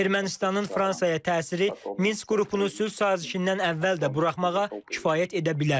Ermənistanın Fransaya təsiri Minsk qrupunu sülh sazişindən əvvəl də buraxmağa kifayət edə bilər.